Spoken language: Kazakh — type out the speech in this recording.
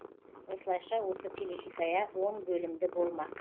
осылайша осы телехикая он бөлімді болмақ